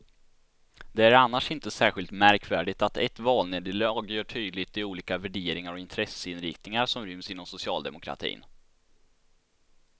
Det är annars inte särskilt märkvärdigt att ett valnederlag gör tydligt de olika värderingar och intresseinriktningar som ryms inom socialdemokratin.